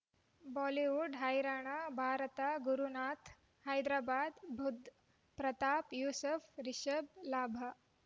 Bollywood ಹೈರಾಣ ಭಾರತ ಗುರುನಾಥ ಹೈದರಾಬಾದ್ ಬುಧ್ ಪ್ರತಾಪ್ ಯೂಸುಫ್ ರಿಷಬ್ ಲಾಭ